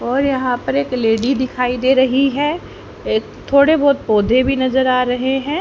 और यहां पर एक लेडी दिखाई दे रही है ए थोड़े बहोत पौधे भी नजर आ रहे हैं।